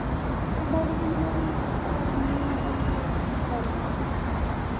Daddy ਕਹਿੰਦੇ ਮੇਰੀ ਇਹੀ ਕਮਾਈ ਨਈਂ ਕਹਿੰਦਾ ਮੇਰਾ ਨਾਲ ਚੱਲ।